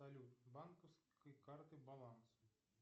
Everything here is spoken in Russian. салют банковской карты баланс